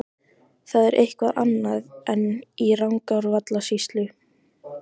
Það er eitthvað annað en í Rangárvallasýslu.